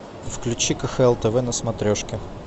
включи кхл тв на смотрешке